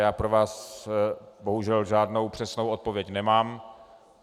Já pro vás bohužel žádnou přesnou odpověď nemám.